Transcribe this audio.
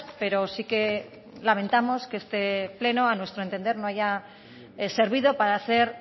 pero sí que lamentamos que este pleno a nuestro entender no haya servido para hacer